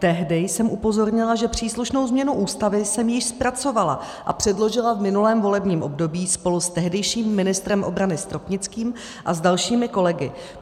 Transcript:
Tehdy jsem upozornila, že příslušnou změnu Ústavy jsem již zpracovala a předložila v minulém volebním období spolu s tehdejším ministrem obrany Stropnickým a s dalšími kolegy.